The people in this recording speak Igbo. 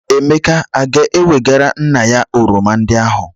Emeka a ga-ewegara nna ya oroma ndị ahụ?